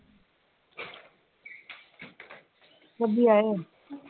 ਕਦੀ ਆਏ ਹੋ